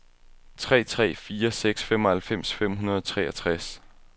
tre tre fire seks femoghalvfems fem hundrede og treogtres